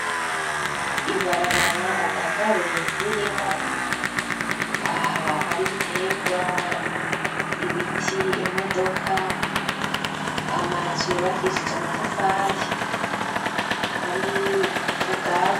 ibarabara ataka burembi ririmwo hari biterwa ibiti imodoka amazu yubakishije amatafari hari ubwatsi